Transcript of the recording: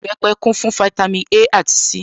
Ìbẹpẹ̀ kún fún fítámī A àti C